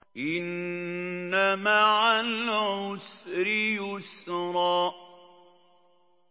إِنَّ مَعَ الْعُسْرِ يُسْرًا